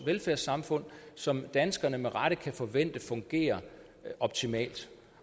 velfærdssamfundet som danskerne med rette kan forvente fungerer optimalt